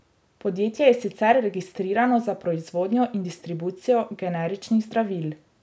Podjetje je sicer registrirano za proizvodnjo in distribucijo generičnih zdravil.